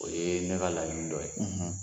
O ye ne ka laɲini dɔ ye.